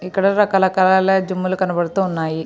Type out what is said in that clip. ఇక్కడ రకరకాల జిమ్ లు కనబడుతూ ఉన్నాయి.